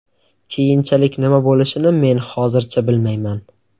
Keyinchalik nima bo‘lishini men hozircha bilmayman.